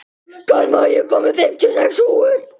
Karma, ég kom með fimmtíu og sex húfur!